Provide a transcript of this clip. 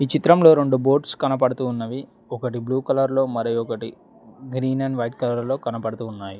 ఈ చిత్రంలో రెండు బోట్స్ కనబడుతూ ఉన్నవి ఒకటి బ్లూ కలర్ లో మరో ఒకటి గ్రీన్ అండ్ వైట్ కలర్ లో కనబడుతున్నాయి.